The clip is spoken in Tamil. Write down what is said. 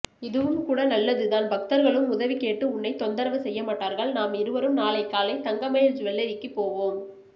இதுவும்கூட நல்லதுதான் பக்தர்களும் உதவி கேட்டு உன்னை தொந்தரவு செய்ய மாட்டார்கள் நாமிருவரும் நாளைக்காலை தங்க மயில் ஜூவல்லரிக்கு போவோம்